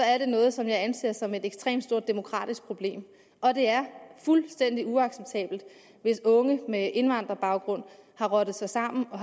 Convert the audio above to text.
er det noget som jeg anser som et ekstremt stort demokratisk problem og det er fuldstændig uacceptabelt hvis unge med indvandrerbaggrund har rottet sig sammen og